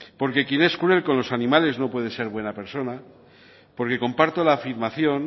porque quien es cruel con los animales no puede ser buena persona porque comparto la afirmación